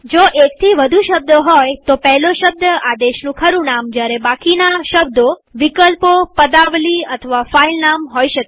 જો એકથી વધુ શબ્દો હોય તો પહેલો શબ્દ આદેશનું ખરું નામ જયારે બાકીના શબ્દો વિકલ્પોપદાવલી અથવા ફાઈલ નામ હોઈ શકે